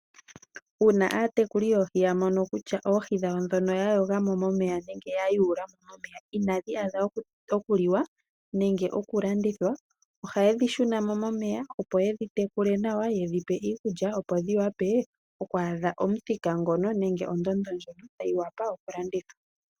Uuna aanafaalama nenge aatekuli yamono kutya oohi dhawo ndi yamuna inadhi adha okuyuulwa nokukaliwa nenge okulandithwa, ohayedhi shunamo momeya opo yedhi tekulilemo , yedhipe iikulya opo dhi adhe ondondo mpono tayi vulu okulandithwa.